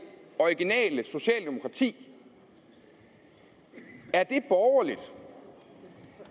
originale socialdemokrati er det borgerligt